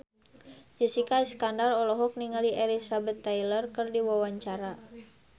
Jessica Iskandar olohok ningali Elizabeth Taylor keur diwawancara